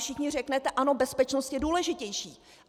Všichni řeknete - ano, bezpečnost je důležitější.